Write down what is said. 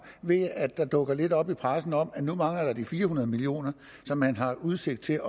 ved at der dukker lidt op i pressen om at nu mangler de fire hundrede million kr som man har udsigt til